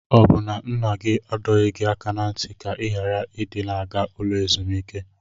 Ọ bụ na nna gị adọghị gị aka na ntị ka ị ghara ị dị na-aga ụlọ ezumike?